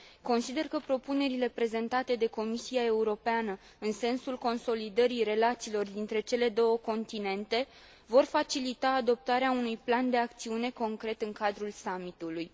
Consider că propunerile prezentate de Comisia Europeană, în sensul consolidării relațiilor dintre cele două continente, vor facilita adoptarea unui plan de acțiune concret în cadrul Summitului.